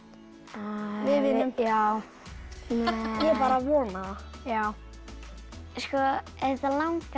við vinnum já ég bara vona það já auðvitað langar